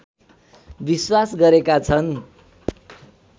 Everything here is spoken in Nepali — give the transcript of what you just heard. विश्वास गरेका छन्